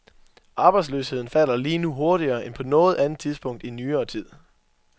Arbejdsløsheden falder lige nu hurtigere end på noget andet tidspunkt i nyere tid.